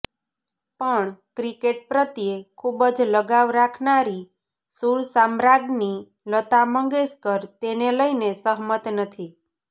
પણ ક્રિકેટ પ્રત્યે ખૂબ જ લગાવ રાખનારી સુર સામ્રાજ્ઞી લતા મંગેશકર તેને લઈને સહમત નથી